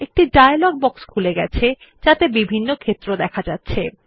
একটি dialogue box খুলে গেছে যাতে বিভিন্ন ক্ষেত্র আছে